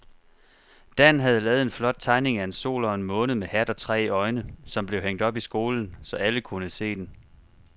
Dan havde lavet en flot tegning af en sol og en måne med hat og tre øjne, som blev hængt op i skolen, så alle kunne se den.